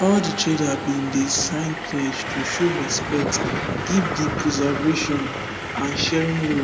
all de trader bin sign pledge to show respect give de preservation and sharing rules